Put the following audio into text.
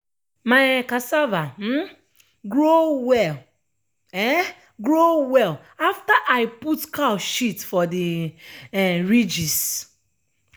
my um cassava um grow well um grow well afta i put cow shit for de um ridges.